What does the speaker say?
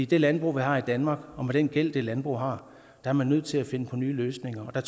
det landbrug vi har i danmark og med den gæld det landbrug har er man nødt til at finde nye løsninger og